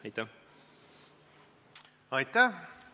Aitäh!